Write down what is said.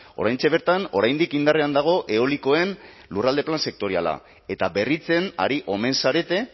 oraintxe bertan oraindik indarrean dago eolikoen lurralde plan sektoriala eta berritzen ari omen zarete